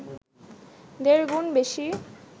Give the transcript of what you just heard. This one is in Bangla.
দেড়গুণ বেশি